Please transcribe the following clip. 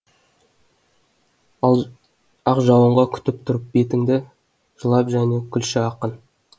ақ жауынға күтіп тұрып бетінді жылап және күлші акын